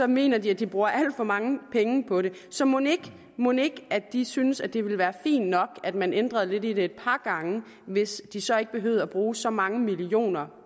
mener de at de bruger alt for mange penge på det så mon ikke mon ikke de synes at det ville være fint nok at man ændrede lidt i det et par gange hvis de så ikke behøvede at bruge så mange millioner